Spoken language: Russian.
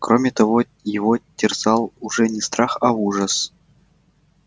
кроме того его терзал уже не страх а ужас